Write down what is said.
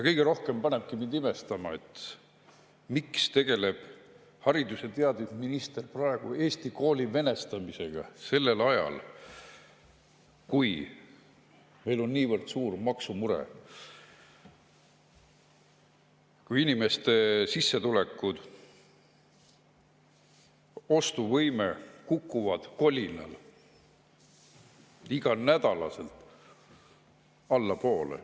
Kõige rohkem panebki mind imestama, miks tegeleb haridus‑ ja teadusminister praegu Eesti kooli venestamisega, sellel ajal kui meil on niivõrd suur maksumure, kui inimeste sissetulekud ja ostuvõime kukuvad kolinal iga nädalaga allapoole.